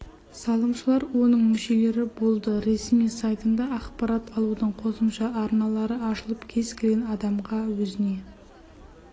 салымшылар оның мүшелері болды ресми сайтында ақпарат алудың қосымша арналары ашылып кез келген адамға өзіне